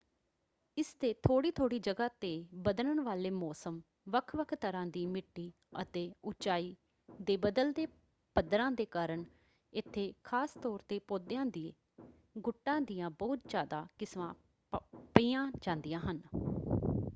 ਇਸ ਦੇ ਥੋੜ੍ਹੀ ਥੋੜ੍ਹੀ ਜਗ੍ਹਾ ‘ਤੇ ਬਦਲਣ ਵਾਲੇ ਮੌਸਮ ਵੱਖ-ਵੱਖ ਤਰ੍ਹਾਂ ਦੀ ਮਿੱਟੀ ਅਤੇ ਉਚਾਈ ਦੇ ਬਦਲਦੇ ਪੱਧਰਾਂ ਦੇ ਕਾਰਨ ਇੱਥੇ ਖਾਸ ਤੌਰ ‘ਤੇ ਪੌਦਿਆਂ ਦੇ ਗੁੱਟਾਂ ਦੀਆਂ ਬਹੁਤ ਜ਼ਿਆਦਾ ਕਿਸਮਾਂ ਪਈਆਂ ਜਾਂਦੀਆਂ ਹਨ।